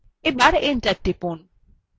এবং enter টিপুন